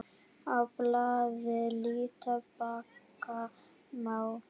Á blaði líta bakka má.